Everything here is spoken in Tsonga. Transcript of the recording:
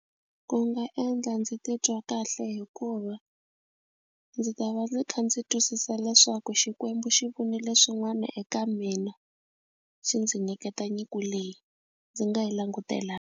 Ku nga endla ndzi titwa kahle hikuva ndzi ta va ndzi kha ndzi twisisa leswaku Xikwembu xi vonile swin'wana eka mina xi ndzi nyiketa nyiko leyi ndzi nga yi langutelanga.